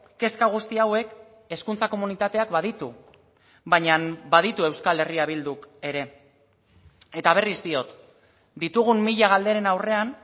kezka guzti hauek hezkuntza komunitateak baditu baina baditu euskal herria bilduk ere eta berriz diot ditugun mila galderen aurrean